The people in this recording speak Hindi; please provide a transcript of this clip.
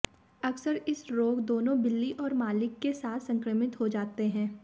अक्सर इस रोग दोनों बिल्ली और मालिक के साथ संक्रमित हो जाते हैं